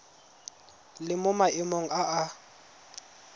le mo maemong a a